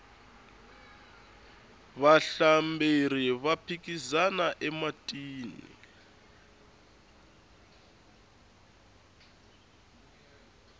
vahlamberi va phikizana ematini